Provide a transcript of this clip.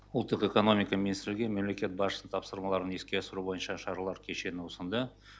ұлттық экономика министрге мемлекет басшысының тапсырмаларын іске асыру бойынша шаралар кешенін ұсынды